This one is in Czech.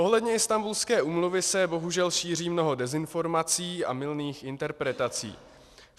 Ohledně Istanbulské úmluvy se bohužel šíří mnoho dezinformací a mylných interpretací.